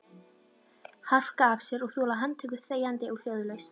Harka af sér og þola handtöku þegjandi og hljóðalaust?